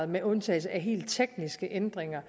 med undtagelse af helt tekniske ændringer